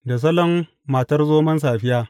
Da salon Matar Zomon Safiya.